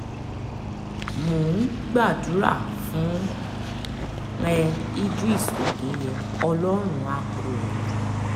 mò ń gbádùá fún ẹ ìdris òkínyẹ ọlọ́run àá kó ẹ yọ